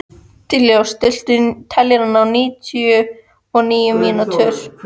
Dallilja, stilltu niðurteljara á níutíu og níu mínútur.